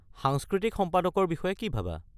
সাংস্কৃতিক সম্পাদকৰ বিষয়ে কি ভাবা?